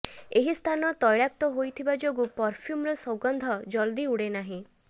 ଏହି ସ୍ଥାନ ତୈଳାକ୍ତ ହୋଇଥିବା ଯୋଗୁଁ ପରଫ୍ୟୁମର ସୁଗନ୍ଧ ଜଲଦି ଉଡେନାହିଁ